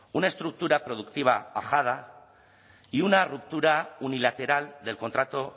una estructura productiva ajada y una ruptura unilateral del contrato